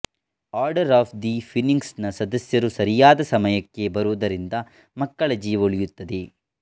order of the Phoenix ನ ಸದಸ್ಯರು ಸರಿಯಾದ ಸಮಯಕ್ಕೆ ಬರುವುದರಿಂದ ಮಕ್ಕಳ ಜೀವ ಉಳಿಯುತ್ತದೆ